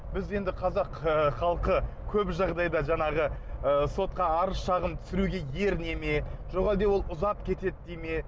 біз енді қазақ ы халқы көп жағдайда жанағы ы сотқа арыз шағым түсіруге еріне ме жоқ әлде ол ұзап кетеді дей ме